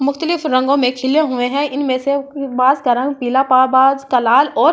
मुख्तलिफ रंगों मे खिले हुए है इनमे से कुइ बाज़ का रंग पीला पा बाज़ का लाल और